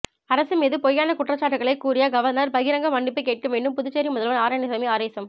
அரசு மீது பொய்யான குற்றச்சாட்டுக்களை கூறிய கவர்னர் பகிரங்க மன்னிப்பு கேட்க வேண்டும் புதுச்சேரி முதல்வர் நாராயணசாமி ஆவேசம்